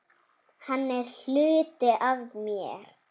Hann er hluti af mér.